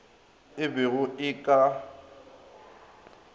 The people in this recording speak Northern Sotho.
e be go e ka